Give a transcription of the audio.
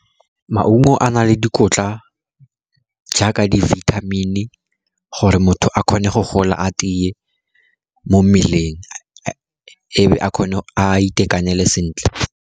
Maungo a na le dikotla jaaka di vitamin-i, gore motho a kgone go gola a tiye mo mmeleng, ebe a kgone a itekanele sentle.